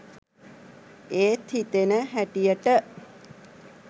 එත් හිතෙන හැටියට